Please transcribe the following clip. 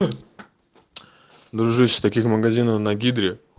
ээ дружище таких магазинов на гидре